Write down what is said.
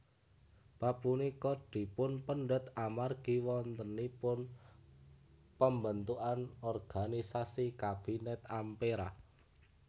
Bab punika dipunpendhet amargi wontenipun pembentukan organisasi Kabinet Ampera